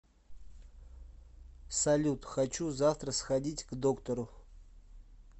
салют хочу завтра сходить к доктору